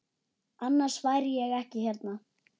Annars væri ég ekki hérna.